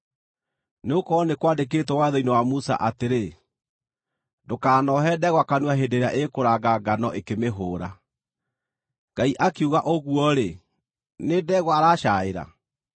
Nĩgũkorwo nĩ kwandĩkĩtwo watho-inĩ wa Musa atĩrĩ, “Ndũkanohe ndegwa kanua hĩndĩ ĩrĩa ĩkũranga ngano ĩkĩmĩhũũra.” Ngai akiuga ũguo-rĩ, nĩ ndegwa aracaaĩra?